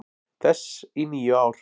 þess í níu ár.